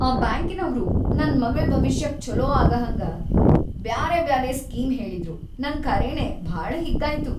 ಆ ಬ್ಯಾಂಕಿನವ್ರು ನನ್‌ ಮಗಳ್‌ ಭವಿಷ್ಯಕ್ ಛೋಲೋ ಆಗಹಂಗ ಬ್ಯಾರೆಬ್ಯಾರೆ ಸ್ಕೀಮ್‌ ಹೇಳಿದ್ರು, ನಂಗ್ ಖರೇನೇ ಭಾಳ ಹಿಗ್ಗಾಯ್ತು.